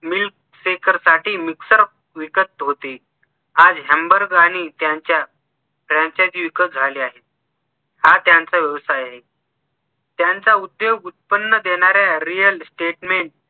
milk shaker साठी mixer विकत होते आज हॅमबर्ग त्यांच्या franchise विकत झाल्या आहेत हा त्यांचा व्यवसाय आहे त्यांचा उद्योग उत्पन्न देणाऱ्या real statement